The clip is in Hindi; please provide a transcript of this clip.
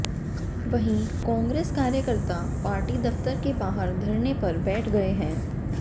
वहीं कांग्रेस कार्यकर्ता पार्टी दफ्तर के बाहर धरने पर बैठ गए हैं